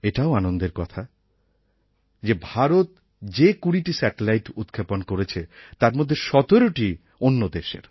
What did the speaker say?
এটাও আনন্দের কথা যে ভারত যে ২০টি স্যাটেলাইট উৎক্ষেপণ করেছে তার মধ্যে ১৭টিই অন্য দেশের